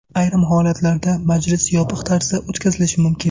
Ayrim holatlarda majlis yopiq tarzda o‘tkazilishi mumkin.